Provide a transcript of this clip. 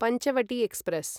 Panchavati express